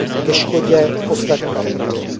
ke škodě ostatních regionů.